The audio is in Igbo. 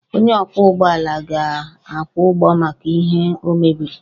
Onye ọkwọ ụgbọ ala ga-akwụ ụgwọ maka ihe o mebiri